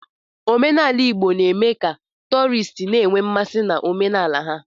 Omenala Igbo na-eme ka tọọrịst na-enwe mmasị n'omenala ha.